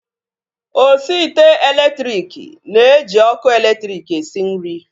Osi ite elektriki na-eji ọkụ elektriki esi nri